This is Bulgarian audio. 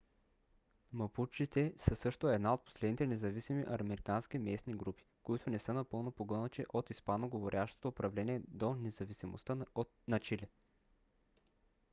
мапучите са също една от последните независими американски местни групи които не са напълно погълнати от испаноговорящото управление до независимостта на чили